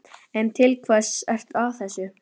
En til hvers ertu að þessu?